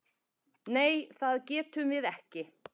Nei það getum við ekki.